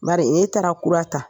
M bari ee taara kura ta.